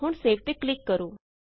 ਹੁਣ ਸੇਵ ਤੇ ਕਲਿਕ ਕਰੋ